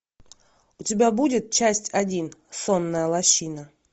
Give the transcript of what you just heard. у тебя будет часть один сонная лощина